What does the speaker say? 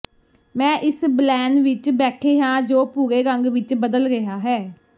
ਮੈਂ ਇਸ ਬਲੈਨ ਵਿਚ ਬੈਠੇ ਹਾਂ ਜੋ ਭੂਰੇ ਰੰਗ ਵਿਚ ਬਦਲ ਰਿਹਾ ਹਾਂ